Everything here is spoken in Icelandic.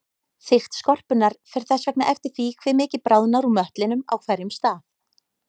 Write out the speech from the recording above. Þykkt skorpunnar fer þess vegna eftir því hve mikið bráðnar úr möttlinum á hverjum stað.